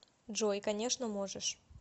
джой конечно можешь